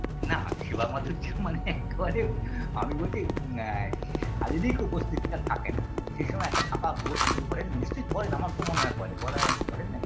না সেবা মাধুর্য মানে একেবারে আমি বলছি এ শারীরিক উপস্থিতিটা থাকে না সেই সময় একটা ফাঁকা বোধ করেন নিশ্চয়ই করেন আমার তো মনে হয় করেন করা করেন